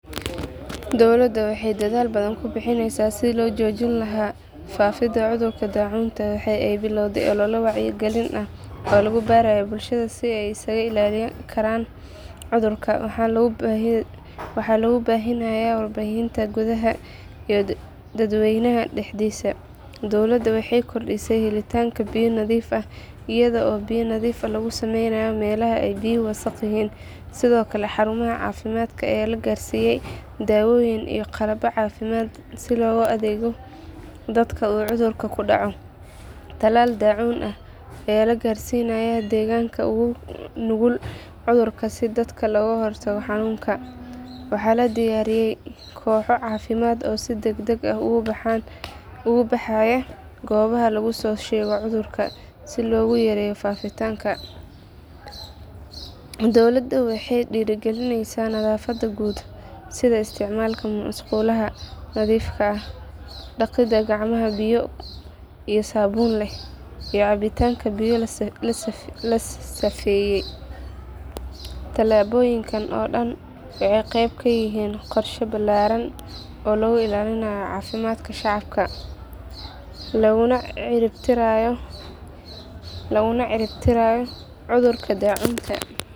Dowladda waxay dadaal badan ku bixineysaa sidii loo joojin lahaa faafidda cudurka daacuunta. Waxa ay bilowday olole wacyigelin ah oo lagu barayo bulshada sida ay isaga ilaalin karaan cudurka, waxaana lagu baahinayaa warbaahinta gudaha iyo dadweynaha dhexdiisa. Dowladda waxay kordhisay helitaanka biyo nadiif ah iyada oo biyo nadiifin lagu sameynayo meelaha ay biyuhu wasaqda yihiin. Sidoo kale, xarumaha caafimaadka ayaa la gaarsiiyay dawooyin iyo qalab caafimaad si loogu adeeggo dadka uu cudurku ku dhaco. Talaal daacuun ah ayaa la gaarsiinayaa deegaanada ugu nugul cudurka si dadka looga hortago xanuunka. Waxaa la diyaariyay kooxo caafimaad oo si degdeg ah ugu baxaya goobaha laga soo sheego cudurka si loo yareeyo faafitaanka. Dowladda waxay dhiirrigelineysaa nadaafadda guud, sida isticmaalka musqulaha nadiifka ah, dhaqidda gacmaha biyo iyo saabuun leh, iyo cabitaanka biyo la safeeyey. Tallaabooyinkan oo dhan waxay qayb ka yihiin qorshe ballaaran oo lagu ilaalinayo caafimaadka shacabka laguna cirib tirayo cudurka daacuunta.